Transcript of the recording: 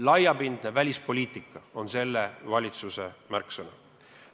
Laiapindne välispoliitika on selle valitsuse märksõna.